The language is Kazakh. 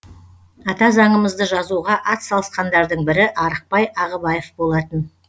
ата заңымызды жазуға атсалысқандардың бірі арықбай ағыбаев болатын